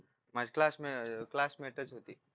माझी क्लासमेटच क्लासमेटच होती